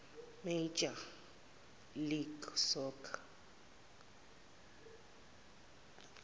major league soccer